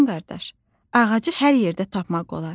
Dovşan qardaş, ağacı hər yerdə tapmaq olar.